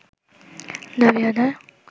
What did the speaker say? দাবি আদায়